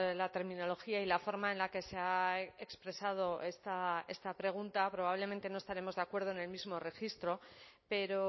la terminología y la forma en la que se ha expresado esta pregunta probablemente no estaremos de acuerdo en el mismo registro pero